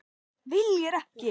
Viljir ekki.